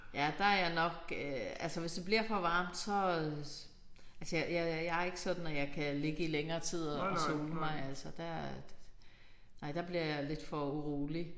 Ja der er jeg nok øh altså hvis det bliver for varmt så altså jeg jeg jeg er ikke sådan at jeg kan ligge i længere tid og og sole mig altså der nej der bliver jeg lidt for urolig